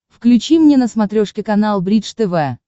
включи мне на смотрешке канал бридж тв